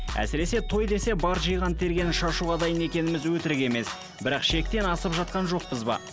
әсіресе той десе бар жиған тергенін шашуға дайын екеніміз өтірік емес бірақ шектен асып жатқан жоқпыз ба